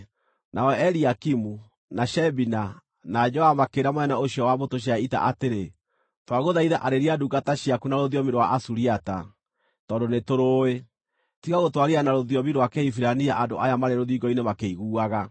Nao Eliakimu, na Shebina, na Joa makĩĩra mũnene ũcio wa mbũtũ cia ita atĩrĩ, “Twagũthaitha arĩria ndungata ciaku na rũthiomi rwa Asuriata, tondũ nĩtũrũũĩ. Tiga gũtwarĩria na rũthiomi rwa Kĩhibirania andũ aya marĩ rũthingo-inĩ makĩiguaga.”